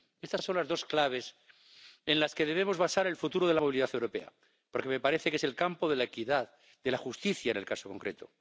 Estas son las dos claves en las que debemos basar el futuro de la movilidad europea, porque me parece que es el campo de la equidad, de la justicia en el caso concreto.